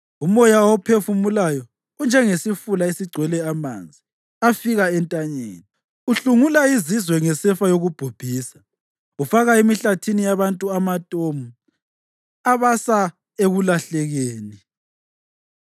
Umoya awuphefumulayo unjengesifula esigcwele amanzi afika entanyeni. Uhlungula izizwe ngesefa yokubhubhisa; ufaka emihlathini yabantu amatomu abasa ekulahlekeni.